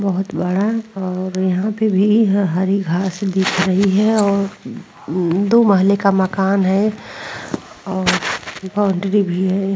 बोहोत बड़ा और यहाँ पे भी हरी घास दिख रही हैं और दो महले का मकान हैं और बॉउन्ड्री भी हैं।